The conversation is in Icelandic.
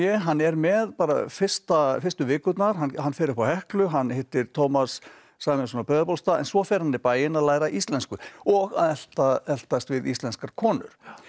hann er með bara fyrstu fyrstu vikurnar hann fer upp á Heklu hann hittir Tómas Sæmundsson á Breiðabólstað en svo fer hann í bæinn að læra íslensku og að eltast eltast við íslenskar konur